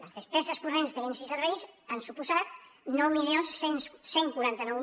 les despeses corrents de béns i serveis han suposat nou mil cent i quaranta nou